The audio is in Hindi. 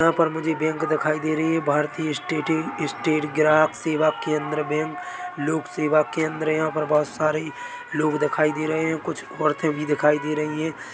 यहाँ पर मुझे बैंक दिखाई दे रही है भारतीय स्टेट ग्राहक सेवा केंद्र बैंक लोक सेवा केंद्र यहा पर बोहोत सारे लोग दिखाई दे रहे है कुछ औरते भी दिखाई दे रही है।